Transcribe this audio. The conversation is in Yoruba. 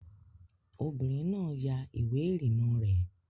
Obìnrin náà ya ìwé ìrìnnà rẹ̀